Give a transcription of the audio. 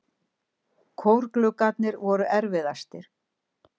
Kórgluggarnir voru erfiðastir.